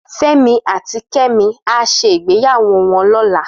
Femi àtí Kemi á ṣé gbéyàwó wòn lòlá